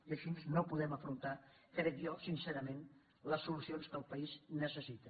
i així no podem afrontar crec jo sincerament les solucions que el país necessita